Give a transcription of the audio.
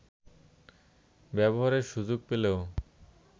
ব্যবহারের সুযোগ পেলেও